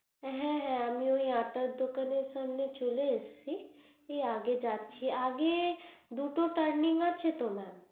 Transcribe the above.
হ্যা হ্যা আমি ওই আটার দোকানের সামনে চলে আসছি আগে যাচ্ছি আগে দুটো tanning আছে তো mam